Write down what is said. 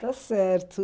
Está certo.